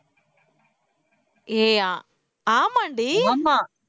ஏய் ஆமாம்டி